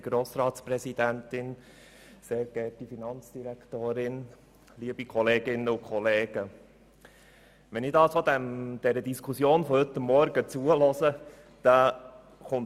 Wir sprechen davon, die Steuereinnahmen um zusätzliche 70 Mio. Franken zu senken.